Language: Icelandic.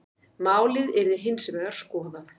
Málið yrði hins vegar skoðað.